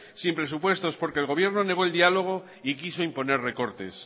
sin presupuestos porque el gobierno negó el diálogo y quiso imponer los recortes